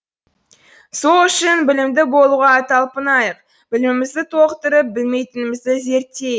сол үшін білімді болуға талпынайық білімімізді толықтырып білмейтінімізді зерттейік